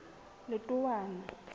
letowana